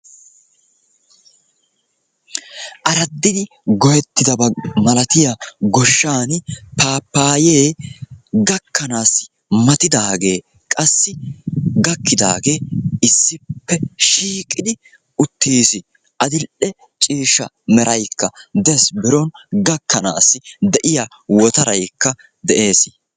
Araddidi goyettidaba malatiya goshshaan paappaayee gakkanaassi matidaagee qassi gakkidaagee issippe shiiqidi uttiis. Adil"i ciishsha meraykka dees biron gakkanaassi de'iya wotaraykka de'ees.